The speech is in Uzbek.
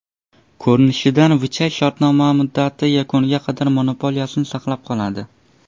Ko‘rinishidan, Vichay shartnoma muddati yakuniga qadar monopoliyasini saqlab qoladi.